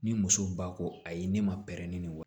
Ni muso ba ko ayi ne ma pɛrɛn ni wa